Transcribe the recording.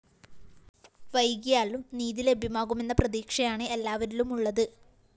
വൈകിയാലും നീതി ലഭ്യമാകുമെന്ന പ്രതീക്ഷയാണ് എല്ലാവരിലുമുളളത്